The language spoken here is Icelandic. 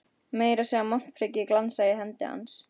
Meira að segja montprikið glansaði í hendi hans.